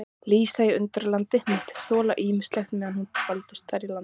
Lísa í Undralandi mátti þola ýmislegt meðan hún dvaldist þar í landi.